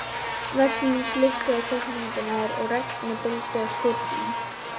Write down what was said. veggnum blikkuðu teiknimyndirnar og regnið buldi á skúrnum.